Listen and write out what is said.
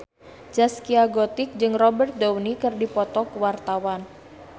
Zaskia Gotik jeung Robert Downey keur dipoto ku wartawan